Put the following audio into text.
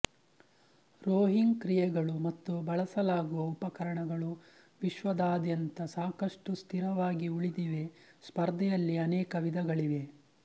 rowing ಕ್ರಿಯೆಗಳು ಮತ್ತು ಬಳಸಲಾಗುವ ಉಪಕರಣಗಳು ವಿಶ್ವದಾದ್ಯಂತ ಸಾಕಷ್ಟು ಸ್ಥಿರವಾಗಿ ಉಳಿದಿವೆ ಸ್ಪರ್ಧೆಯಲ್ಲಿ ಅನೇಕ ವಿಧಗಳಿವೆ